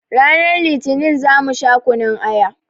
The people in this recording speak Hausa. Ranar litinin za mu sha kunun aya